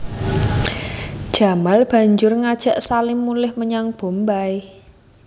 Jamal banjur ngajak Salim mulih menyang Bombay